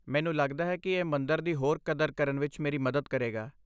ਮੈਨੂੰ ਲੱਗਦਾ ਹੈ ਕਿ ਇਹ ਮੰਦਰ ਦੀ ਹੋਰ ਕਦਰ ਕਰਨ ਵਿੱਚ ਮੇਰੀ ਮਦਦ ਕਰੇਗਾ।